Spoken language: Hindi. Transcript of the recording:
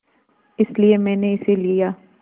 इसलिए मैंने इसे लिया